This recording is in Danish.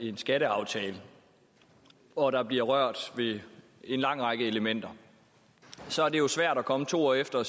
en skatteaftale og der bliver rørt ved en lang række elementer så er det jo svært at komme to år efter og